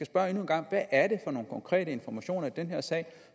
spørge endnu en gang hvad er det for nogle konkrete informationer i den her sag